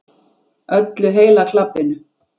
Öllu heila klabbinu.